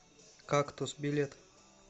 кактус билет